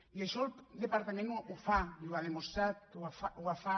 i això el departament ho fa i ho ha demostrat que ho fa